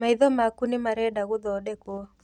Maitho maku nĩ marenda gũthondekwo.